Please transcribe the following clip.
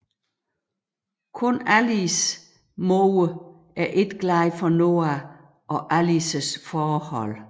Kun Allies mor er ikke glad for Noah og Allies forhold